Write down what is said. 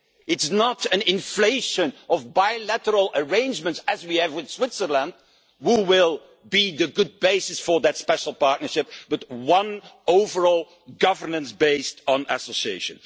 It is not an inflation of bilateral arrangements, as we have with Switzerland, which will be a good basis for that special partnership, but one overall governance based on association.